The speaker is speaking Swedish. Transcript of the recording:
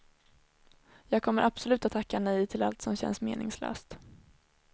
Jag kommer absolut att tacka nej till allt som känns meningslöst.